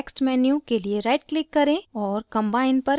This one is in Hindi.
context menu के लिए right click करें और combine पर click करें